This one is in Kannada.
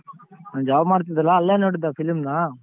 ನಾನ್ job ಮಾಡ್ತಿದ್ದಲ್ಲ ಅಲ್ಲೇ ನೋಡಿದ್ ಆ film ನ.